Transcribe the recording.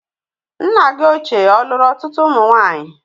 Nna gị ochie ọ̀lùru ọtụtụ ụmụ nwaanyị?